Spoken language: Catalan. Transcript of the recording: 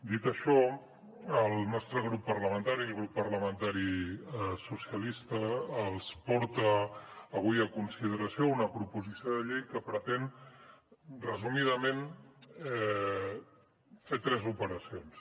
dit això el nostre grup parlamentari el grup parlamentari socialistes els porta avui a consideració una proposició de llei que pretén resumidament fer tres operacions